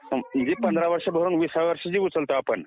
पंधरा वर्ष भरून जे विसाव्या वर्षी उचलतो आपण